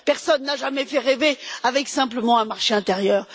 Personne n'a jamais fait rêver simplement avec un marché intérieur.